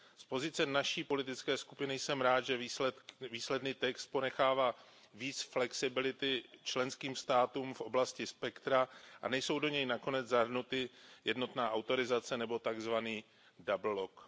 Z pozice naší politické skupiny jsem rád, že výsledný text ponechává více flexibility členským státům v oblasti spektra a nejsou do něj nakonec zahrnuty jednotná autorizace nebo takzvaný double lock